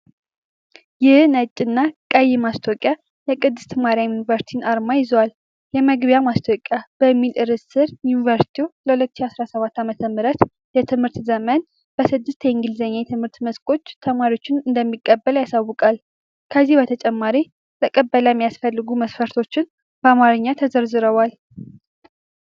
ይህ ነጭና ቀይ ማስታወቂያ የቅድስት ማርያም ዩኒቨርሲቲን አርማ ይዟል። "የመግቢያ ማስታወቂያ" በሚለው ርዕስ ስር፣ ዩኒቨርሲቲው ለ"2017 ዓ.ም የትምህርት ዘመን"በስድስት የእንግሊዝኛ የትምህርት መስኮች ተማሪዎች እንደሚቀበል ያሳውቃል። ከዚህ በተጨማሪ፣ ለቅበላ የሚያስፈልጉ መስፈርቶች በአማርኛ ተዘርዝረዋል።